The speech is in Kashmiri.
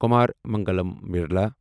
کمار منگلم بِرلا